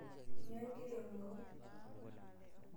Nyoo egira aing'oru?